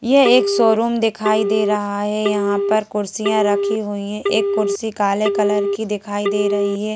यह एक शोरुम दिखाई दे रहा है यहां पर कुर्सियां रखी हुई हैं एक कुर्सी काले कलर की दिखाई दे रही है।